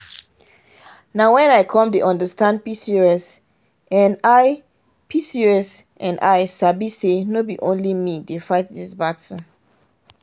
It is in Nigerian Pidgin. nah wen i come dey understand pcos and i pcos and i sabi say no be only me dey fight this battle.